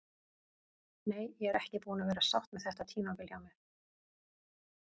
Nei, ég er ekki búin að vera sátt með þetta tímabil hjá mér.